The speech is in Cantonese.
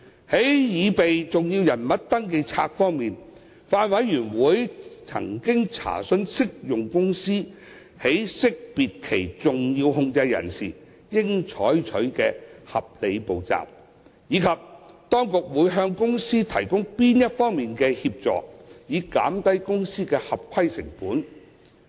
在擬備登記冊方面，法案委員會曾詢問適用公司在識別其重要控制人時應採取的合理步驟，以及當局會向公司提供哪方面的協助，以減低公司的合規成本。